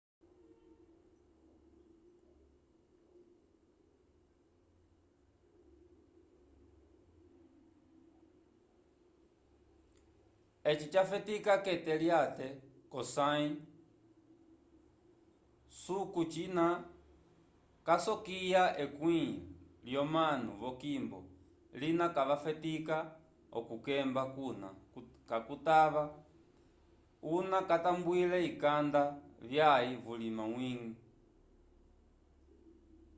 eci jafetica kete lyate cosay susu cina casokya ekwĩ lyomanu vokimbo lina va fetica oku kekemba cuna cutava una catambwile ikanda vyaei vulima wigi